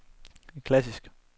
klassisk